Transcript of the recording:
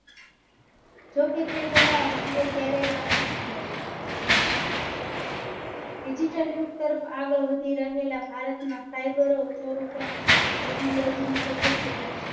તેના રૂપિયા ક્યારેય પાછા ના મળ્યા. Digital યુગ તરફ આગળ વધી રહેલા ભારત માં Cyber Technology ની